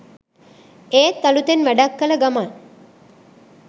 ඒත් අළුතෙන් වැඩක් කල ගමන්.